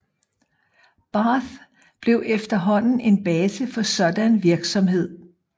Barths blev efterhånden en base for sådan virksomhed